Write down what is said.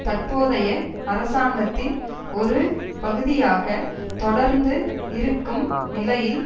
தற்போதைய அரசாங்கத்தின் ஒரு பகுதியாக தொடர்ந்து இருக்கும் நிலையில்